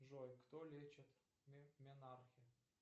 джой кто лечит менархе